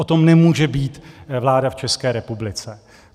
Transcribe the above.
O tom nemůže být vláda v České republice.